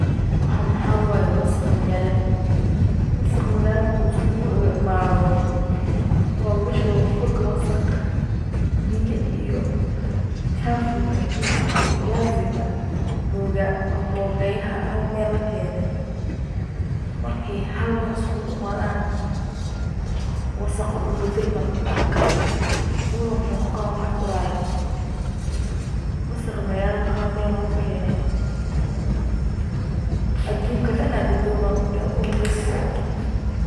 Waxaan maxaa waay? wasakha magaalada. Wasakha magaalada marka uskugu imaado oo lugu shubo hog wasakh, biyo iyo chafuga aduunka, viaziga, mboga mboogayaha hal meel lakeenay markii hal meel uskugu imaadaan wasakhu wuu bedelma, wuuna waxuu noqona wax uraaya. Wasakha magaalada hal meel lugu keenay adunka dhan godooman ku dhahe ur bes.